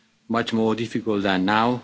much more difficult than now.